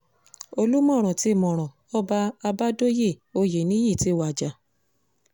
olùmọ̀rọ̀ tí mọ́rọ̀ ọba àbádòye oyènìyí ti wájà